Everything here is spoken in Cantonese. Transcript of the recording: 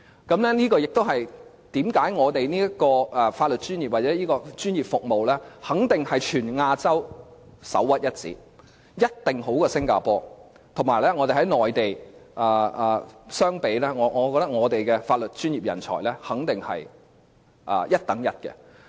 這也是為甚麼香港的法律專業或這專業服務肯定是全亞洲首屈一指，一定較新加坡好；以及香港與內地相比，我認為香港的法律專業人才肯定是一流的。